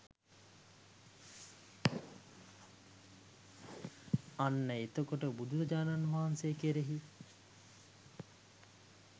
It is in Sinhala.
අන්න එතකොට බුදුරජාණන් වහන්සේ කෙරෙහි